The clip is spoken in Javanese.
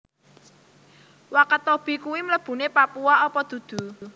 Wakatobi kui mlebune Papua opo dudu